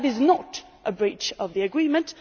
That is not a breach of the Agreement.